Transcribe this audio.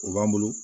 O b'an bolo